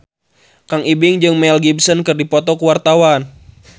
Kang Ibing jeung Mel Gibson keur dipoto ku wartawan